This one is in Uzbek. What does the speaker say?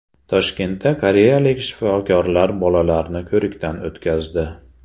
Toshkentda koreyalik shifokorlar bolalarni ko‘rikdan o‘tkazdi.